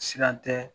Siran tɛ